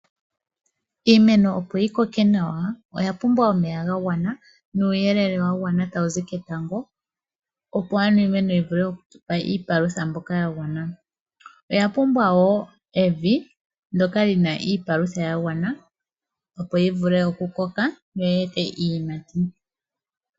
Iimeno opo yi koke Iya pumbwa omeya ga gwana, nuuyelele wa gwana tswu zi ketango, opo ano iimeno yi vule oku tupa iipalutha mbyoka ya gwana. Iya pumbwa woo evi lyoka lina iipalutha ya gwana opo yi vule oku koka , yo yi ime iiyimati.